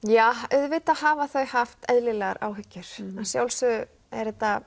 auðvitað hafa þau haft eðlilegar áhyggjur að sjálfsögðu er þetta